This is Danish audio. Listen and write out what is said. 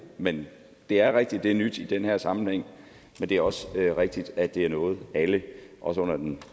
men det er rigtigt at det er nyt i den her sammenhæng men det er også rigtigt at det er noget alle også under den